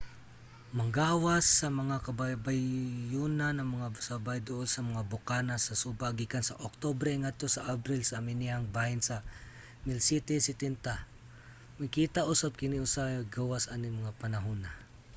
manggawas sa mga kabaybayonan ang mga sabay duol sa mga bokana sa suba gikan sa oktubre ngadto sa abril sa amihang bahin sa 1770. makita usab kini usahay gawas aning mga panahuna